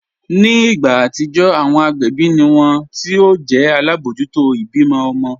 Ní ìgbà atijọ́, awọn agbẹbi ni wọn ti o jẹ̀ alábojútò ibímọ̀ ọmọ̀